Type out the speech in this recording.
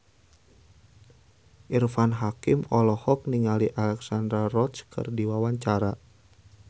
Irfan Hakim olohok ningali Alexandra Roach keur diwawancara